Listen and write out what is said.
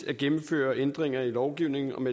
at gennemføre ændringer i lovgivningen om